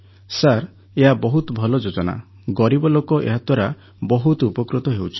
sir ଏହା ବହୁତ ଭଲ ଯୋଜନା ଗରିବ ଲୋକ ଏହାଦ୍ୱାରା ବହୁତ ଉପକୃତ ହେଉଛନ୍ତି